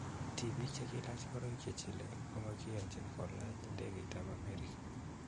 Tibiik chegilaach ngoroik chechile koagiyonji kolany'ndegeit ap Amerika